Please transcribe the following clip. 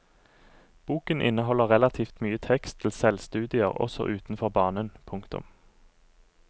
Boken inneholder relativt mye tekst til selvstudier også utenfor banen. punktum